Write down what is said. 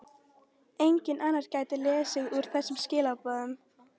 Enginn annar gæti lesið úr þessum skilaboðum.